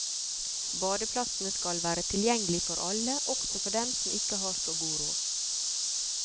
Badeplassene skal være tilgjengelig for alle, også for dem som ikke har så god råd.